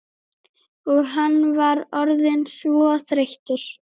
Og hann var orðinn svo þreyttur.